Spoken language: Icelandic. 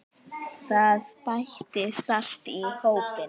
Það bætist alltaf í hópinn.